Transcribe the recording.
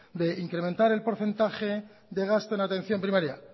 de incrementar el porcentaje de gasto en atención primaria